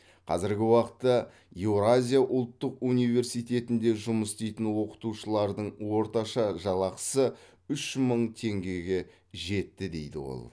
қазіргі уақытта еуразия ұлттық университетінде жұмыс істейтін оқытушылардың орташа жалақысы үш мың теңгеге жетті дейді ол